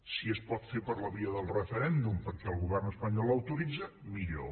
si es pot fer per la via del referèndum perquè el govern espanyol l’autoritza millor